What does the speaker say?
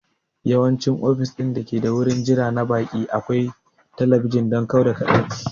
Yawanci ofis ɗin dake da wurin jira na baƙi akwai talabijin don kau da kaɗaici